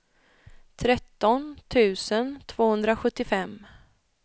tretton tusen tvåhundrasjuttiofem